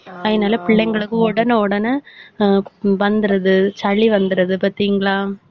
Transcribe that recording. அதனால பிள்ளைங்களுக்கு உடனே உடனே ஆஹ் வந்திருது, சளி வந்துருது பார்த்தீங்களா